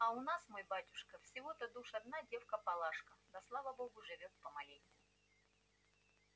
а у нас мой батюшка всего-то душ одна девка палашка да слава богу живём помаленьку